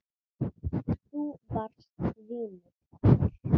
Þú varst vinur okkar.